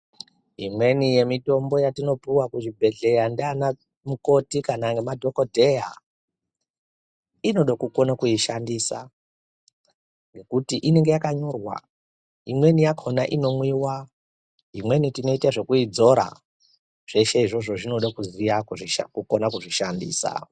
Imweni yemitombo yetinopuwa kuzvibhedhlera ngaanamukoti kana madhogodheya inode kukone kuishandisa ngekuti inenge yakanyorwa. Imweni yakhona inomwiwa imweni tinoite zvekuzora. Zveshe izvozvo zvinode kuziya kukone kuzvishandisa.